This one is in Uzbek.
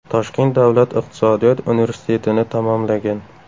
Toshkent Davlat iqtisodiyot universitetini tamomlagan.